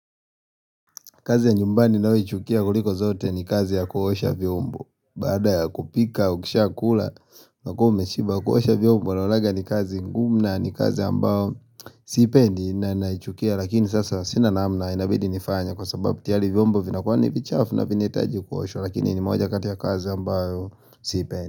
Kazi ya nyumbani nayoichukia kuliko zote ni kazi ya kuosha vyombo Baada kupika, ukishia kula unakua umeshiba kuosha vyombo naonanga ni kazi ngumu na, ni kazi ambayo siipendi na naichukia lakini sasa sina namna inabidi nifanye Kwa sababu tiyari vyombo vinakuwa ni vichafu na vinahitaji kuoshwa Lakini ni moja kati ya kazi ambayo sipendi.